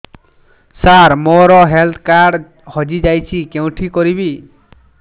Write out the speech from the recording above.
ସାର ମୋର health card ହଜି ଯାଇଛି କେଉଁଠି କରିବି